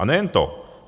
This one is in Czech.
A nejen to.